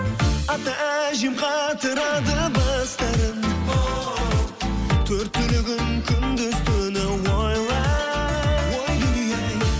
ата әжем қатырады бастарын оу төрт түлігін күндіз түні ойлай ой дүние ай